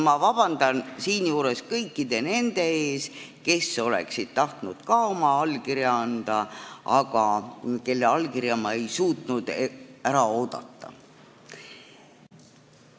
Ma palun siinjuures vabandust kõikidelt nendelt, kes oleksid tahtnud ka oma allkirja anda, aga kelle allkirja ma ei suutnud ära oodata.